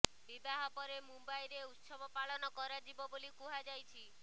ବିବାହ ପରେ ମୁମ୍ବାଇରେ ଉତ୍ସବ ପାଳନ କରାଯିବ ବୋଲି କୁହାଯାଇଛି